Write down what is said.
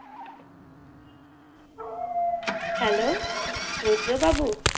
hello রুদ্রবাবু